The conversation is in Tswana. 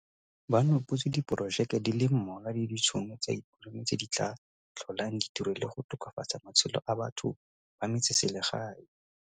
Ba nopotse diporojeke di le mmalwa le ditšhono tsa ikonomi tse di tla tlholang di tiro le go tokafatsa matshelo a batho ba metseselegae.